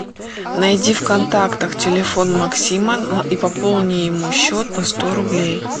найди в контактах телефон максима и пополни ему счет на сто рублей